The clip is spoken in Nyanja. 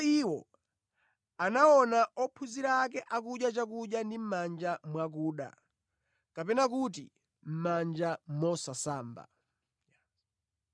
iwo anaona ophunzira ake akudya chakudya ndi mʼmanja mwakuda kapena kuti mʼmanja mosasamba.